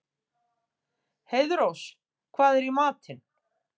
Heiðrós, hvað er í matinn?